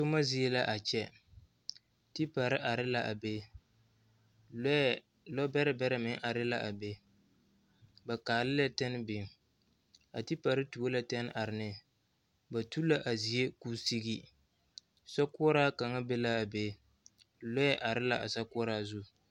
Toma zie la a kyɛ tepare are la a be lɔɛ lɔbɛrɛ bɛrɛ meŋ are la a be ba kaale la tanne biŋ a tepare tuo la tanne are ne ba tu la a zie k'o sigi sokoɔraa kaŋa be la a be lɔɔre are la a sokoɔraa zu.